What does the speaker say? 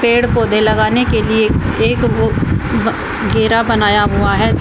पेड़ पौधे लगाने के लिए एक वो अह घेरा बनाया हुआ है